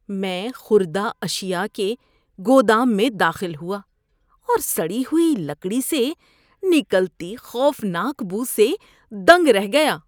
میں خوردہ اشیاء کے گودام میں داخل ہوا اور سڑی ہوئی لکڑی سے نکلتی خوفناک بو سے دنگ رہ گیا۔